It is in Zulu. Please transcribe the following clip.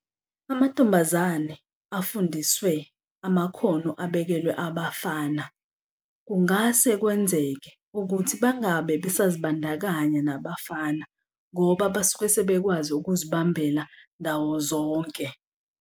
Amantombazane afundiswe amakhono abekelwe abafana kungase kwenzeke ukuthi bangabe besazibandakanya nabafana ngoba basuke sebekwazi ukuzibambela ndawo zonke.